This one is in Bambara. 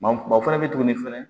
Ma o fɛnɛ bɛ tuguni fɛnɛ